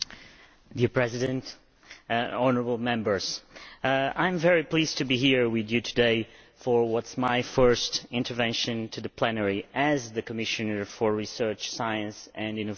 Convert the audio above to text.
Mr President, honourable Members, I am very pleased to be here with you today for what is my first intervention in the plenary as the Commissioner for Research, Science and Innovation.